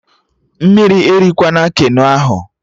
Mmiri erikwana Keno ahụ!